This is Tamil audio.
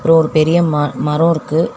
ஒரு பெரிய ம மரோ இருக்கு.